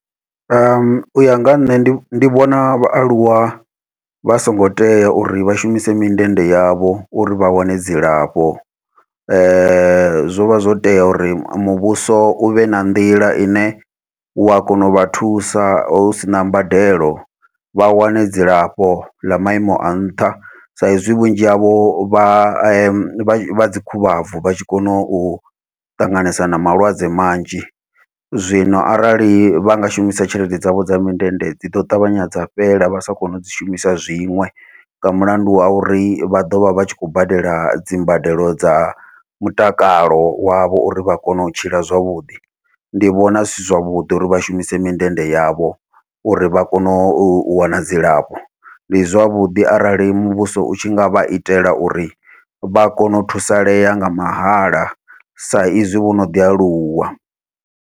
Uya nga ha nṋe ndi vhona vhaaluwa vha songo tea uri vha shumise mindende yavho uri vha wane dzilafho, zwovha zwo tea uri muvhuso uvhe na nḓila ine ua kona uvha thusa hu sina mbadelo, vha wane dzilafho ḽa maimo a nṱha sa izwi vhunzhi vhavho vha vha vha dzi khuvhabvi vha tshi kona u ṱanganesa na malwadze manzhi zwino. Arali vha nga shumisa tshelede dzavho dza mindende dzi ḓo tavhanya dza fhela vha sa kone u dzi shumisa zwiṅwe, nga mulandu wa uri vha ḓovha vha tshi khou badela dzimbadelo dza mutakalo wavho uri vha kone u tshila zwavhuḓi, ndi vhona zwi si zwavhuḓi uri vha shumise mindende yavho uri vha kone u wana dzilafho, ndi zwavhuḓi arali muvhuso utshi nga vha itela uri vha kone u thusalea nga mahala sa izwi vhono ḓi aluwa.